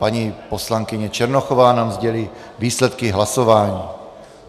Paní poslankyně Černochová nám sdělí výsledky hlasování.